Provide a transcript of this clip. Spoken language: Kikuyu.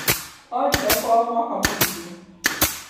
Orire kwao mwaka mũthiru